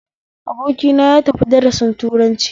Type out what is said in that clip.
Abokina yatafi darasin turanci